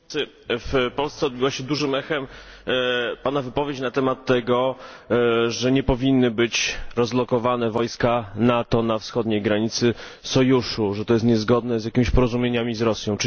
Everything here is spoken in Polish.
Panie Przewodniczący! W Polsce odbiła się dużym echem Pana wypowiedź na temat tego, że nie powinny być rozlokowane wojska NATO na wschodniej granicy sojuszu, że to jest niezgodne z jakimiś porozumieniami z Rosją.